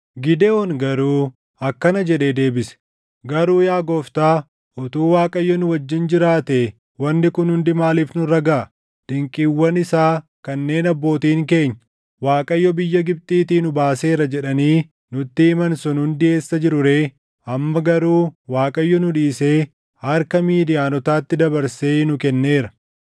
Gidewoon garuu akkana jedhee deebise; “Garuu yaa gooftaa, utuu Waaqayyo nu wajjin jiraatee wanni kun hundi maaliif nurra gaʼa? Dinqiiwwan isaa kanneen abbootiin keenya, ‘ Waaqayyo biyya Gibxiitii nu baaseera’ jedhanii nutti himan sun hundi eessa jiru ree? Amma garuu Waaqayyo nu dhiisee harka Midiyaanotaatti dabarsee nu kenneera.”